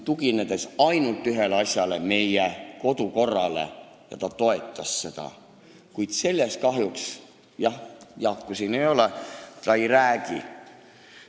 Tuginedes ainult ühele asjale, meie kodukorrale, ta toetas tehtud ettepanekut, kuid muust ta kahjuks – Jaaku siin ei ole – ei räägi.